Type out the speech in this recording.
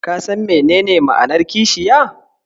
Ka san menene ma'anar kishiya?